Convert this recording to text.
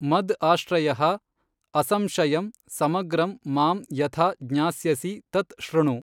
ಮದ್ ಆಶ್ರಯಃ ಅಸಂಶಯಂ ಸಮಗ್ರಂ ಮಾಂ ಯಥಾ ಜ್ಞಾಸ್ಯಸಿ ತತ್ ಶೃಣು.